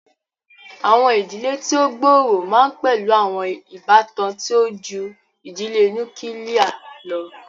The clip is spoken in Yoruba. Awọn idile ti o gbooro ma n pẹlu awọn ibatan ti o ju idile nukiilie lọ.